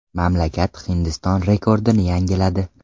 Mamlakat Hindiston rekordini yangiladi.